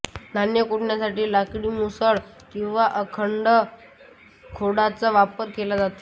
धान्य कुटण्यासाठी लाकडी मुसळ किंवा अखंड खोडाचा वापर केला जातो